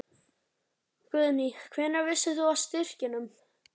Guðný: Hvenær vissir þú af styrkjunum?